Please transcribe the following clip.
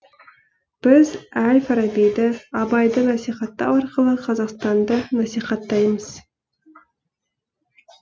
біз әл фарабиді абайды насихаттау арқылы қазақстанды насихаттаймыз